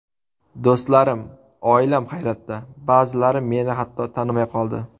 Do‘stlarim, oilam hayratda, ba’zilari meni hatto tanimay qoldi.